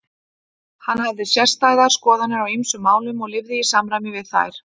Hann hafði sérstæðar skoðanir á ýmsum málum og lifði í samræmi við þær.